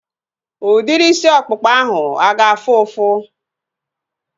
Udiri isi ọkpụkpa ahu a ga-afụ ụfụ?